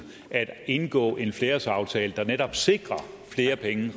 at indgå en flerårsaftale der netop sikrer